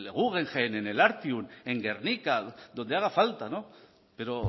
guggenheim en el artium en gernika donde haga falta pero